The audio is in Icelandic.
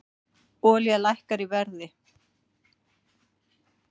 Olía lækkar í verði